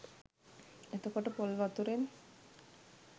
එතකොට පොල් වතුරෙන්